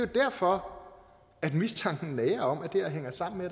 derfor at mistanken nager om at det her hænger sammen med